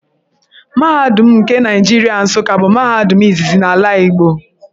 Mahadum nke Naịjirịa Nsuka bụ mahadum izizi n’ala Igbo.